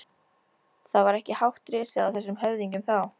Það var ekki hátt risið á þessum höfðingjum þá!